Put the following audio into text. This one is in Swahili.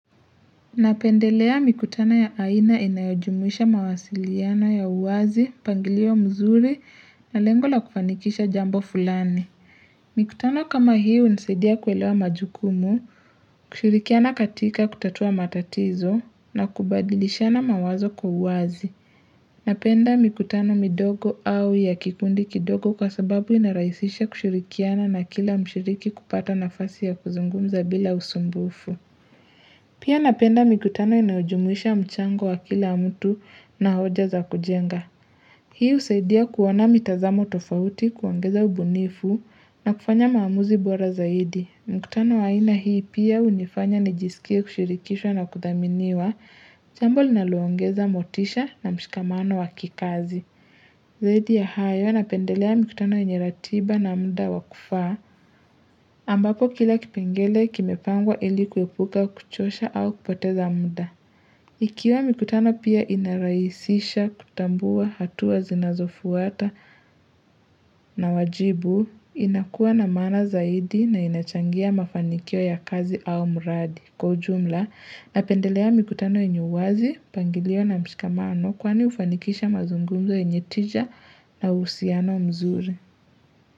Napendelea mikutano ya aina inayojumuisha mawasiliano ya uwazi, mpangilio mzuri na lengo la kufanikisha jambo fulani. Mikutano kama hii hunisaidia kuelewa majukumu, kushirikiana katika kutatua matatizo na kubadilishana mawazo kwa uwazi. Napenda mikutano midogo au ya kipindi kidogo kwa sababu inarahisisha kushurikiana na kila mshiriki kupata nafasi ya kuzungumza bila usumbufu. Pia napenda mikutano inayojumuisha mchango wa kila mtu na hoja za kujenga. Hii husaidia kuona mitazamo tofauti kuongeza ubunifu na kufanya maamuzi bora zaidi. Mikutano ya aina hii pia hunifanya nijisikie kushirikishwa na kuthaminiwa jambo linalongeza motisha na mshikamano wakikazi. Zaidi ya hayo, napendelea mikutano yeney ratiba na muda wakufaa, ambako kila kipengele kimepangwa ilikuwepuka kuchosha au kupoteza muda. Ikiwa mikutano pia inaraisisha kutambua hatua zinazofuata na wajibu, inakuwa na maana zaidi na inachangia mafanikio ya kazi au muradi. Kwa ujumla na pendelea mikutano yenye uwazi, pangilio na mshikamano kwani ufanikisha mazungumzo yenye tija na uhusiano mzuri.